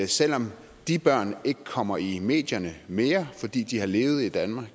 selv om de børn ikke kommer i medierne mere fordi de har levet i danmark